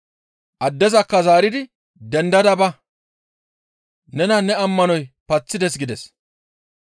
Addezakka zaaridi «Dendada ba! Nena ne ammanoy paththides» gides.